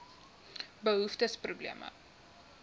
behoeftes probleme